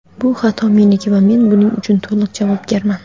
bu xato meniki va men buning uchun to‘liq javobgarman.